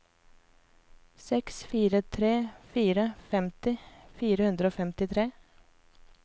seks fire tre fire femti fire hundre og femtitre